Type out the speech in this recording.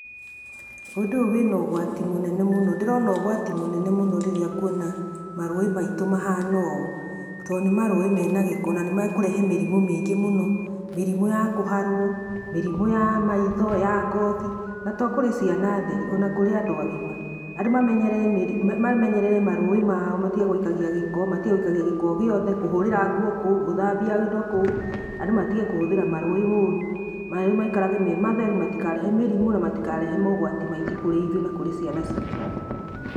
Ũndũ ũyũ wĩna ũgwati mũnene mũno ndĩrona ũgwati mũnene mũno rĩrĩa ngũona marũĩ maitu mahana ũũ, to nĩ marũi mena gĩko na nĩmekũrege mĩrimũ mĩingĩ mũno, mĩrĩmu ya kũharwo mĩrĩmu ya ngothi na to kũrĩ ciana theri ona kũrĩ andũ agima andũ mamenyerere marũĩ mao matigage gũikia gĩko o gĩothe, kũhũrĩra ngũo kũu gũthambia indo kũu andũ matige kũhũthĩra rũĩ ũrũ, marũĩ maikarage me matherũ na matikarehe mogwati kũrĩ ithuĩ na kũrĩ ciana citũ.